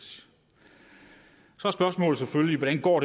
så er spørgsmålet selvfølgelig hvordan det går